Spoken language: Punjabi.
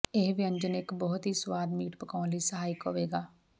ਇਹ ਵਿਅੰਜਨ ਇੱਕ ਬਹੁਤ ਹੀ ਸਵਾਦ ਮੀਟ ਪਕਾਉਣ ਲਈ ਸਹਾਇਕ ਹੋਵੇਗਾ